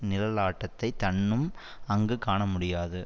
நிழலாட்டத்தை தன்னும் அங்கு காண முடியாது